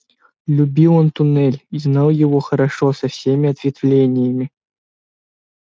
любил он туннель и знал его хорошо со всеми ответвлениями